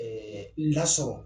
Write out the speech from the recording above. ƐƐ Lasɔrɔ